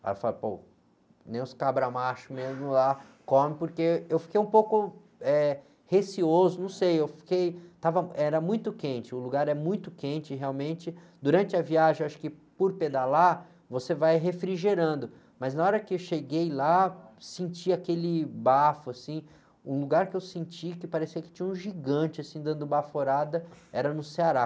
Aí eu falo, pô, nem os cabra macho mesmo lá comem, porque eu fiquei um pouco, eh, receoso, não sei, eu fiquei, estava, era muito quente, o lugar é muito quente, realmente, durante a viagem, eu acho que por pedalar, você vai refrigerando, mas na hora que eu cheguei lá, senti aquele bafo, assim, um lugar que eu senti que parecia que tinha um gigante, assim, dando baforada, era no Ceará.